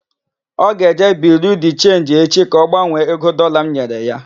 Ọ ga-eje Biriu de Chenji echi ka ọ gbanwee ego Dọlaa m nyere ya.